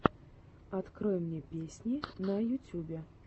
открой мне песни на ютюбе